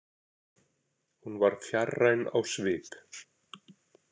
Hún var fjarræn á svip.